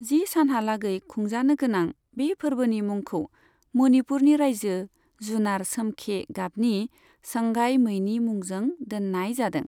जि सानहालागै खुंजानो गोनां बे फोरबोनि मुंखौ मणिपुरनि रायजो जुनार सोमखे गाबनि संगाई मैनि मुंजों दोननाय जादों।